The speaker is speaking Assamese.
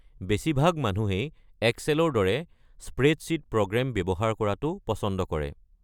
বেছিভাগ মানুহেই এক্সেলৰ দৰে স্প্ৰেডশ্বীট প্ৰগ্ৰেম ব্যৱহাৰ কৰাটো পছন্দ কৰে।